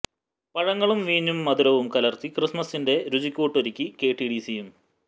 പഴങ്ങളും വീഞ്ഞും മധുരവും കലര്ത്തി ക്രിസ്മസിന്റെ രുചികൂട്ടൊരുക്കി കെ ടി ഡി സിയും